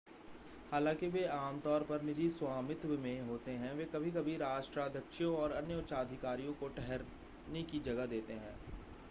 हालांकि वे आमतौर पर निजी स्वामित्व में होते हैं वे कभी-कभी राष्ट्राध्यक्षों और अन्य उच्चाधिकारियों को ठहरने की जगह देते हैं